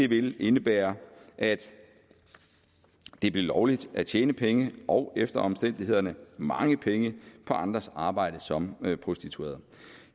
vil indebære at det blev lovligt at tjene penge og efter omstændighederne mange penge på andres arbejde som prostitueret